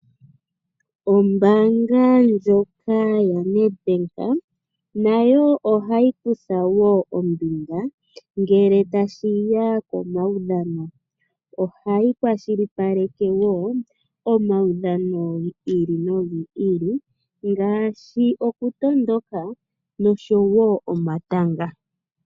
Ombaanga ndyoka yoNedbank nayo ohayi kutha wo ombinga ngele tashiya komaudhano, ohayi kwashilipaleke wo omaudhano gi ili nogi ili ngaashi okutondoka nosho wo omatanga.